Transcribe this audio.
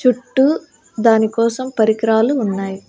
చుట్టూ దానికోసం పరికరాలు ఉన్నాయి.